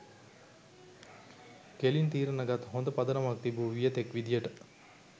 කෙලින් තීරණ ගත් හොඳ පදනමක් තිබූ වියතෙක් විදියට